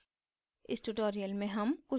इस tutorial में हम